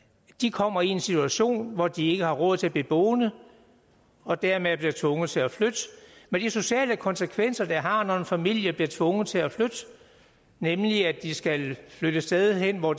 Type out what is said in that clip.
kommer i en situation hvor de ikke har råd til at blive boende og dermed bliver tvunget til at flytte med de sociale konsekvenser det har når en familie bliver tvunget til at flytte nemlig at de skal flytte et sted hen hvor